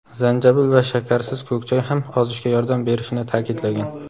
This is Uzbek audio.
zanjabil va shakarsiz ko‘k choy ham ozishga yordam berishini ta’kidlagan.